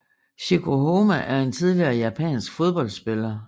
Chieko Homma er en tidligere japansk fodboldspiller